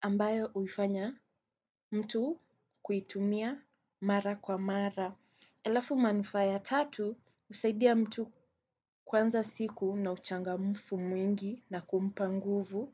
ambayo uifanya mtu kuitumia mara kwa mara. Alafu manufaa ya tatu husaidia mtu kwanza siku na uchangamfu mwingi na kumpa nguvu